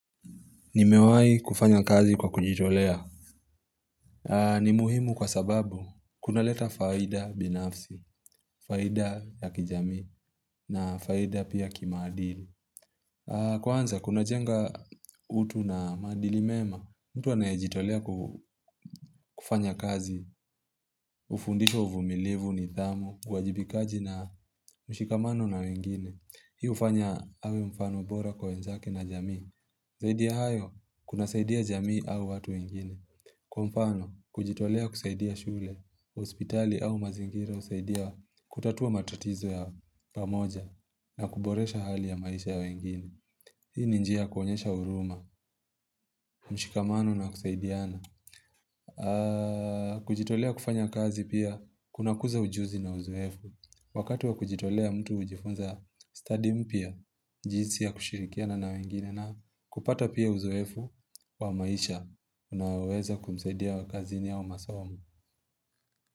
Nimewahi kufanya kazi kwa kujitolea. Ni muhimu kwa sababu, kunaleta faida binafsi, faida ya kijamii na faida pia kimaadili Kwanza kunajenga utu na maadili mema. Mtu anayejitolea kufanya kazi, hufundishwa uvumilivu, nidhamu, uwajibikaji na mshikamano na wengine. Hii hufanya awe mfano bora wenzake na jamii Zaidi ya hayo kunasaidia jamii au watu wengine. Kwa mfano, kujitolea kusaidia shule, hospitali au mazingira husaidia kutatua matatizo ya pamoja na kuboresha hali ya maisha ya wengine. Hii ni njia kuonyesha huruma, mshikamano na kusaidiana. Kujitolea kufanya kazi pia kunakuza ujuzi na uzoefu. Wakati wa kujitolea mtu hujifunza study mpya jinsi ya kushirikia na wengine na kupata pia uzoefu wa maisha unaweza kumsaidia awe kazini au masomo.